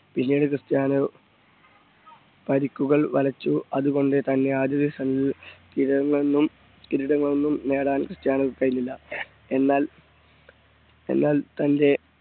പിന്നീട് ക്രിസ്റ്റ്യാനോ പരിക്കുകൾ വലച്ചു അതുകൊണ്ടുതന്നെ ആദ്യ season ൽ കിരീടങ്ങൾ ഒന്നും കിരീടങ്ങൾ ഒന്നും നേടാൻ ക്രിസ്റ്റ്യാനോക്ക് കഴിഞ്ഞില്ല എന്നാ എന്നാൽ തൻറെ